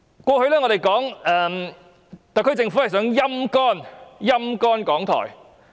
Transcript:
我們過去批評特區政府想"陰乾"港台。